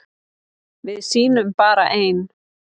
Við sýnum bara ein